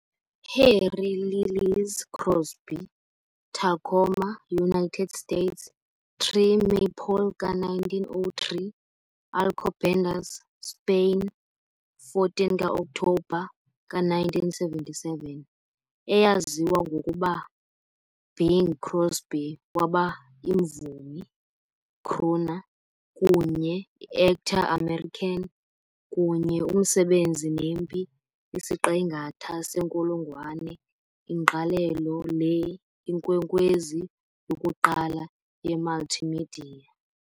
Harry Lillis Crosby, Tacoma, United States, 3 maypole ka- 1903 - Alcobendas, Spain, 14 ka-Oktobha ka- 1977, eyaziwa ngokuba Bing Crosby waba imvumi, "crooner" kunye Actor American kunye umsebenzi nempi isiqingatha senkulungwane ingqalelo le Inkwenkwezi yokuqala yemultimedia.